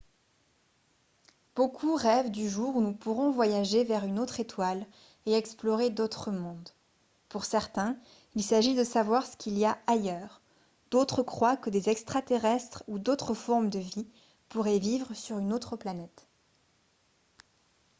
beaucoup rêvent du jour où nous pourrons voyager vers une autre étoile et explorer d'autres mondes pour certains il s'agit de savoir ce qu'il y a ailleurs d'autres croient que des extraterrestres ou d'autres formes de vie pourraient vivre sur une autre planète